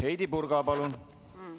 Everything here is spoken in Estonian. Heidy Purga, palun!